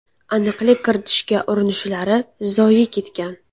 Aniqlik kiritishga urinishlari zoye ketgan.